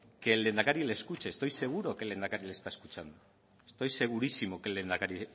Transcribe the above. que el lehendakari le escuche estoy seguro que el lehendakari le está escuchando estoy segurísimo que el lehendakari